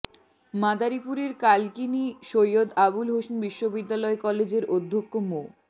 মাদারীপুরের কালকিনি সৈয়দ আবুল হোসেন বিশ্ববিদ্যালয় কলেজের অধ্যক্ষ মো